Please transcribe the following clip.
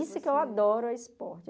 Isso que eu adoro é esporte.